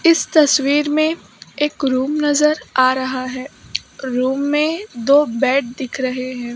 इस तस्वीर में एक रूम नजर आ रहा है रूम में दो बेड दिख रहे है।